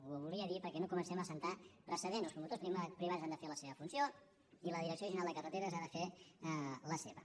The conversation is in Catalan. ho volia dir perquè no comencem a establir precedents els promotors privats han de fer la seva funció i la direcció general de carreteres ha de fer la seva